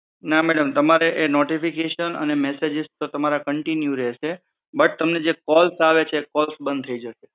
ના મેડમ તમારે એ નોટિફિકેશન અને મસેજીસ તો તમારા કન્ટિન્યુ રહેશે બટ તમને જે, કોલ્સ, હા, આવે છે કોલ્સ બંધ થઇ જશે